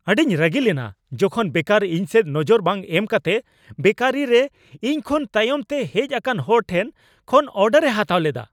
ᱟᱹᱰᱤᱧ ᱨᱟᱹᱜᱤ ᱞᱮᱱᱟ ᱡᱚᱠᱷᱚᱱ ᱵᱮᱠᱟᱨ ᱤᱧᱥᱮᱫ ᱱᱚᱡᱚᱨ ᱵᱟᱝ ᱮᱢ ᱠᱟᱛᱮ ᱵᱮᱠᱟᱨᱤ ᱨᱮ ᱤᱧᱠᱷᱚᱱ ᱛᱟᱭᱚᱢᱛᱮ ᱦᱮᱡ ᱟᱠᱟᱱ ᱦᱚᱲ ᱴᱷᱮᱱ ᱠᱷᱚᱱ ᱚᱨᱰᱟᱨ ᱮ ᱦᱟᱛᱟᱣ ᱞᱮᱫᱟ ᱾